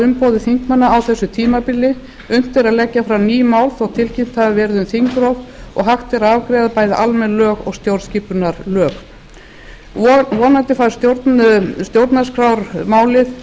umboði þingmanna á þessu tímabili unnt er að leggja ný mál þó tilkynnt hafi verið um þingrof og hægt er að afgreiða þar almenn lög og stjórnskipunarlög vonandi fær stjórnarskrármálið